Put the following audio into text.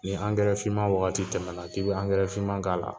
Nin angɛrɛ finman wagati tɛmɛna k'i bɛ angɛrɛ finman k'a la,